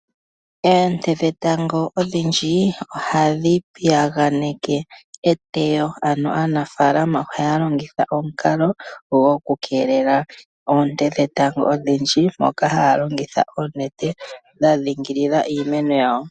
Oonte dhetango odhindji ohadhi piyaganeke eteyo. Ano aanafalama ohaya longitha omukalo gwokukeelela oonte dhetango odhindji, moka haya longitha oonete, dha dhingilila iimeno yawo.